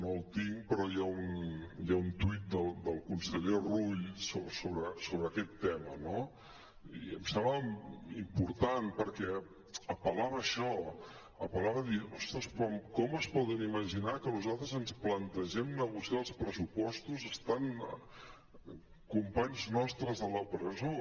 no el tinc però hi ha un tuit del conseller rull sobre aquest tema no i em sembla important perquè apel·lava a això apel·lava a dir ostres però com es poden imaginar que nosaltres ens plantegem negociar els pressupostos estant companys nostres a la presó